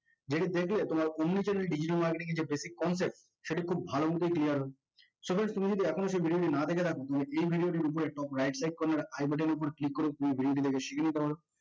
যেটি দেখলে তোমরা omni channel digital marketing basic concept সেটি খুব ভালো মতো clear তুমি যদি এখনো video টি না দেখে থাকো তুমি এই video টির উপর right top corner eye button এর উপর click করে